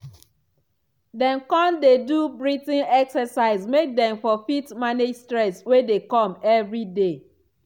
dem con dey do breathing exercise make dem for fit manage stress wey dey come everyday.